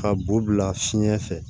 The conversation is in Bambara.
Ka b'u bila fiɲɛ fɛ